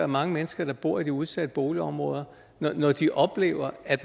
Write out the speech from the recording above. mange mennesker der bor i de udsatte boligområder når de oplever at